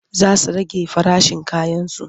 Za su rage farashin kayansu.